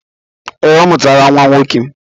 Ee, ọ mụtara nwa nwoke.